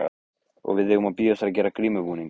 Og við eigum eftir að gera grímubúning.